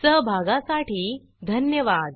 सहभागासाठी धन्यवाद